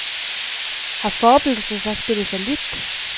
Har forebyggelsen så spillet fallit?